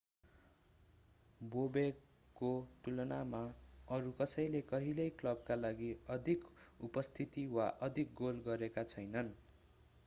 बोबेकको तुलनामा अरू कसैले कहिल्यै क्लबका लागि अधिक उपस्थिति वा अधिक गोल गरेका छैनन्